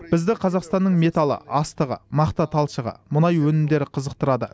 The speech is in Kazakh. бізді қазақстанның металы астығы мақта талшығы мұнай өнімдері қызықтырады